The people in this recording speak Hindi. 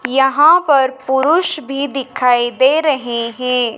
यहां पर पुरुष भी दिखाई दे रहे हैं।